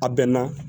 A bɛnna